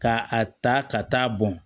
Ka a ta ka taa bɔn